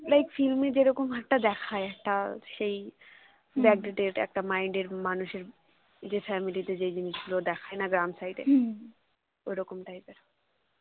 like film এ যেরকম একটা দেখায় একটা সেই backdated minded এর মানুষের যে family তে যেই জিনিস গুলি দেখায় না গ্রাম side এ ওরকম type এর